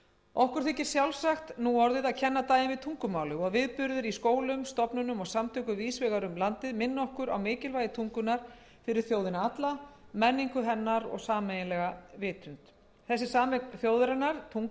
okkur þykir sjálfsagt núorðið að kenna daginn við tungumálið og viðburðir í skólum stofnunum og samtökum víðs vegar um landið minna okkur á mikilvægi tungunnar fyrir þjóðina alla menningu hennar og sameiginlega vitund þessi sameign þjóðarinnar tungan